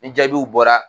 Ni jaabiw bɔra